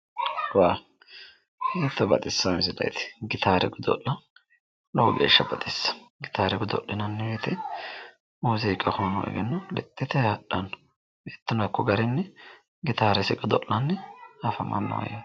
Wowu. Hiitto baxissawo misileeti! Gitaare godo'lawo. Lowo geeshsha baxissawo. Gitaare godo'linanni woyite muuziiqu egennono lexxitayi hadhanno. Ikkona hakko garinni gitaaresi godo'layi afamanno.